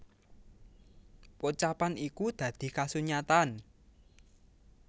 Pocapan iku dadi kasunyatan